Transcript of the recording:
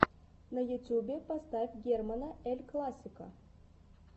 на ютубе поставь германа эль классико